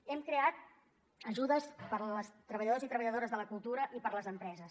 hem creat ajudes per als treballadors i treballadores de la cultura i per a les empreses